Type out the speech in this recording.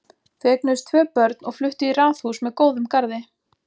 Þau eignuðust tvö börn og fluttu í raðhús með góðum garði.